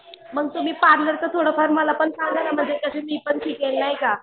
मग तुम्ही पार्लरचं थोडं फार मला पण सांगा ना म्हणजे मी पण शिकेन नाही का.